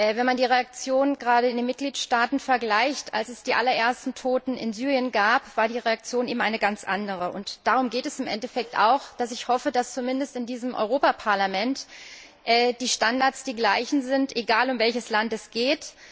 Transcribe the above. Wenn man die Reaktion gerade in den Mitgliedstaaten vergleicht, als es die allerersten Toten in Syrien gab, war die Reaktion eben eine ganz andere. Und darum geht es im Endeffekt auch, dass ich hoffe, dass zumindest in diesem Europäischen Parlament die Standards die gleichen sind, egal um welches Land es geht.